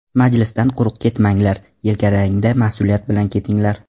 Majlisdan quruq ketmanglar, yelkalaringda mas’uliyat bilan ketinglar.